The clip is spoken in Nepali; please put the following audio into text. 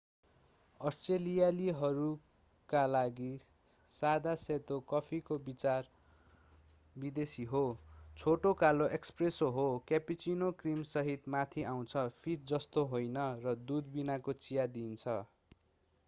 अष्ट्रेलियालीहरूका लागि सादा सेतो” कफीको विचार विदेशी हो। छोटो कालो एस्प्रेसो” हो क्यापुचिनो क्रीमसहित माथि आउँछ फिँज जस्तो होइन र दूध बिनाको चिया दिइन्छ।